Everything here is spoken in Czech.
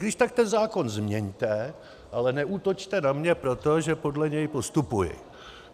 Když tak ten zákon změňte, ale neútočte na něj proto, že podle něj postupuji.